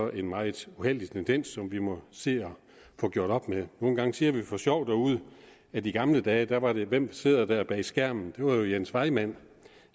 en meget uheldig tendens som vi må se at få gjort op med nogle gange siger vi for sjov derude at i gamle dage var det hvem sidder der bag skærmen det var jo jens vejmand